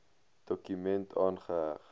dokument aangeheg